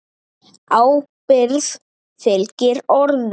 Ábyrgð fylgir orðum.